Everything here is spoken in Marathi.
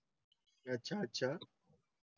. अच्छा अच्छा.